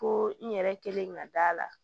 Ko n yɛrɛ kelen ka d'a la